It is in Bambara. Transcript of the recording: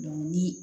ni